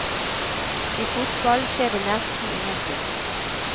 I fotball skjer det nesten ingenting.